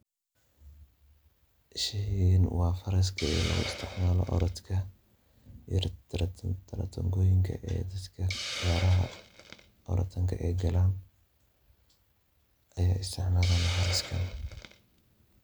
Sheygan waa faraska loogu isticmaalayo orodka tartan tartan Tartanoyinka dadka ciyaaraha orodka ay galaan ayaa isticmaalaya faraskan.